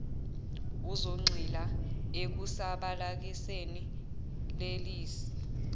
uzogxila ekusabalaliseni lelisu